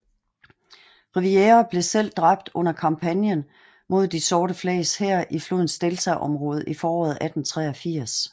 Rivière blev selv dræbt under kampagnen mod De sorte flags hær i flodens deltaområde i foråret 1883